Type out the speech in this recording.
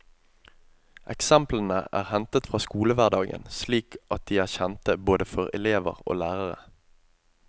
Eksemplene er hentet fra skolehverdagen slik at de er kjente både for elever og lærere.